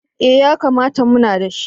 Eh yakamata muna da shi.